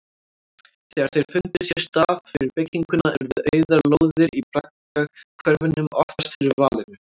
Þegar þeir fundu sér stað fyrir bygginguna urðu auðar lóðir í braggahverfunum oftast fyrir valinu.